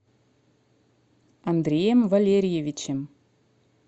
андреем валерьевичем